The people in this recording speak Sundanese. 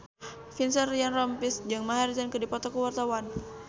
Vincent Ryan Rompies jeung Maher Zein keur dipoto ku wartawan